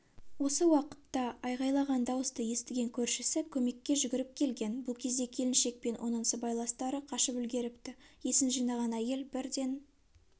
осы уақытта айғайлаған дауысты естіген көршісі көмекке жүгіріп келген бұл кезде келіншек пен оның сыбайластары қашып үлгеріпті есін жинаған әйел бірден